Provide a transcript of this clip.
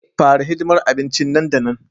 Fara hidimar abincin nan da nan